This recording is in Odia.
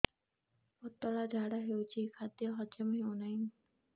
ପତଳା ଝାଡା ହେଉଛି ଖାଦ୍ୟ ହଜମ ହେଉନାହିଁ